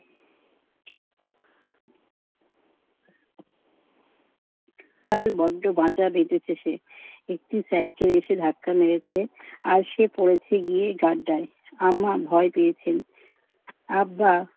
কাল বড্ড বাঁচা বেঁচেছে সে। একটি সাইকেল এসে ধাক্কা মেরেছে, আর সে পড়েছে গিয়ে গাড্ডায়। আম্মা ভয় পেয়েছেন। আব্বা